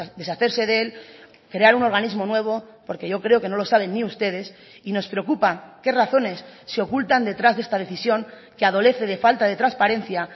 deshacerse de él crear un organismo nuevo porque yo creo que no lo saben ni ustedes y nos preocupa qué razones se ocultan detrás de esta decisión que adolece de falta de transparencia